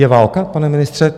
Je válka, pane ministře?